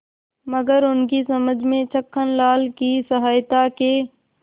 मगर उनकी समझ में छक्कनलाल की सहायता के